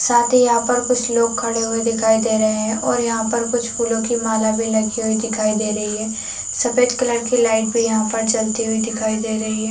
साथ ही यहाँ पर कुछ लोग खड़े हुए दिखाई दे रहे है और यहाँ पर कुछ फूलो की माला भी लगी हुई दिखाई दे रही है सफ़ेद कलर की लाइट भी यहाँ पर जलती हुई दिखाई दे रही है।